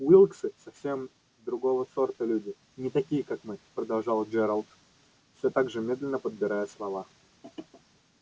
уилксы совсем другого сорта люди не такие как мы продолжал джералд всё так же медленно подбирая слова